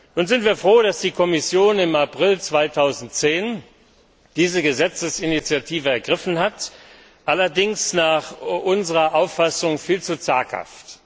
Nun sind wir froh, dass die Kommission im April 2010 diese Gesetzesinitiative ergriffen hat, allerdings war sie dabei unserer Auffassung nach viel zu zaghaft.